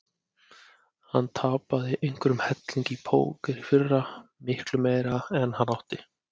Hann tapaði einhverjum helling í póker í fyrra, miklu meira en hann átti.